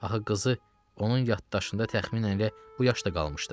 Axı qızı onun yaddaşında təxminən elə bu yaşda qalmışdı.